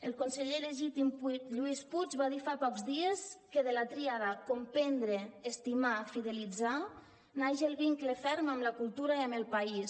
el conseller legítim lluís puig va dir fa pocs dies que de la tríada comprendre estimar fidelitzar naix el vincle ferm amb la cultura i amb el país